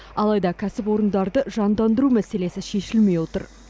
алайда кәсіпорындарды жандандыру мәселесі шешілмей отыр